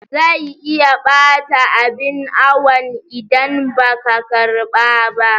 Zai iya ɓata abin awon idan ba ka karɓa ba